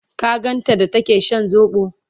ka ganta da take Shan sobo?